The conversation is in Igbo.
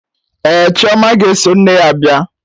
Ee, chioma ga-eso nne ya bia.